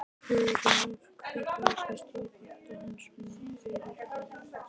Hugrún: En af hverju ákvaðstu að panta hann svona fyrirfram?